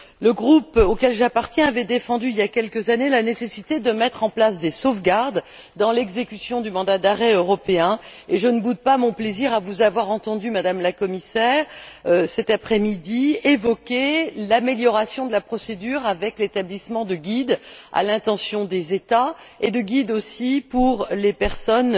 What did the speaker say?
Le groupe auquel j'appartiens avait défendu, il y a quelques années, la nécessité de mettre en place des sauvegardes dans l'exécution du mandat d'arrêt européen et je ne boude pas mon plaisir à vous avoir entendue, Madame la Commissaire, cet après midi, évoquer l'amélioration de la procédure avec l'établissement de guides à l'intention des États, ainsi que de guides à l'intention des personnes